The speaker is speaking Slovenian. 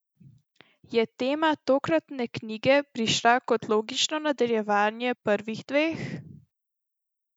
Je tema tokratne knjige prišla kot logično nadaljevanje prvih dveh?